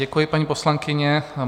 Děkuji, paní poslankyně.